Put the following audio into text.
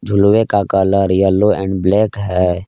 लोहे का colour yellow and black है।